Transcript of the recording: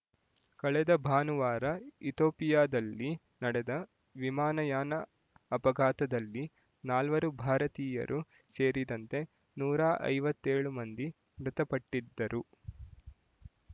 ಕಳೆದ ಭಾನುವಾರ ಇತೋಪಿಯಾದಲ್ಲಿ ನಡೆದ ವಿಮಾನಯಾನ ಅಪಘಾತದಲ್ಲಿ ನಾಲ್ವರು ಭಾರತೀಯರೂ ಸೇರಿದಂತೆ ನೂರ ಐವತ್ತೇಳು ಮಂದಿ ಮೃತಪಟ್ಟಿದ್ದರು